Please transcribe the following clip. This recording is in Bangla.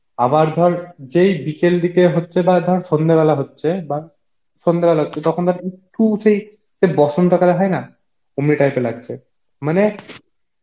আবার ধর যেই বিকেল দিকে হচ্ছে বা ধর সন্ধে বেলা হচ্ছে বা সন্ধে বেলা হচ্ছে তখন একটু সেই সেই বসন্ত কালে হয় না, অমনি type এর লাগছে, মানে,